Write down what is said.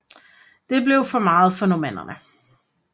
Det blev for meget for normannerne